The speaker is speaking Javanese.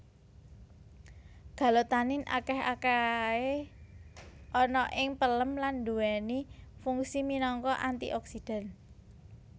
Galotanin akeh akahe ana ing pelem lan duweni fungsi minangka antioksidan